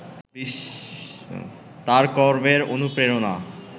তাঁর কর্মের অনুপ্রেরণা